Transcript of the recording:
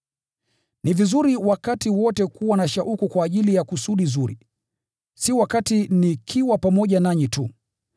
Ni vizuri wakati wote kuwa na shauku kwa ajili ya kusudi zuri, si wakati nikiwa pamoja nanyi tu.